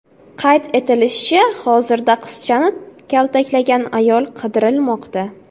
Qayd etilishicha, hozirda qizchani kaltaklagan ayol qidirilmoqda.